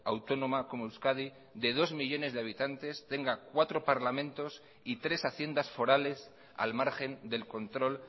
autónoma como euskadi de dos millónes de habitantes tenga cuatro parlamentos y tres haciendas forales al margen del control